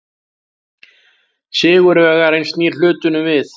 Sigurvegarinn snýr hlutunum við.